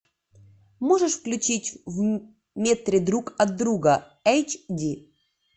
можешь включить в метре друг от друга эйч ди